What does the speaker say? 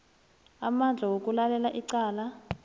amandla wokulalela icala